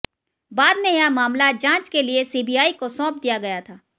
बाद में यह मामला जांच के लिए सीबीआई को सौंप दिया गया था